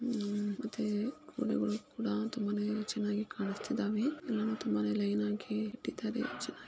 ಉಮ್ ಮತ್ತೆ ಕೋಳಿಗಳು ಕೂಡ ತುಂಬಾನೆ ಚೆನ್ನಾಗಿ ಕಾಣಿಸ್ತಿದಾವೆ. ಉಮ್ ತುಂಬಾನೆ ಲೈನ್ ಆಗಿ ಇಟ್ಟಿದ್ದಾರೆ ಚೆನ್ನಾಗಿ.